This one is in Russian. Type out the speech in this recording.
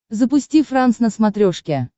запусти франс на смотрешке